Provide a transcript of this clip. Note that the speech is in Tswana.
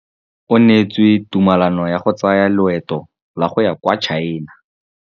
O neetswe tumalanô ya go tsaya loetô la go ya kwa China.